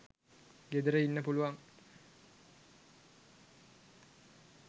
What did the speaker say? ගෙදර ඉන්න පුළුවන්.